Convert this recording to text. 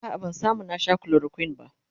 a'a ban samu na Sha chloroquine ba